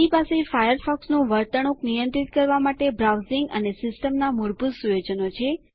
તેની પાસે ફાયરફોક્સનું વર્તણૂક નિયંત્રિત કરવા માટે બ્રાઉઝિંગ અને સિસ્ટમના મૂળભૂત સુયોજનો છે